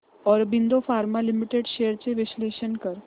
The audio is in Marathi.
ऑरबिंदो फार्मा लिमिटेड शेअर्स चे विश्लेषण कर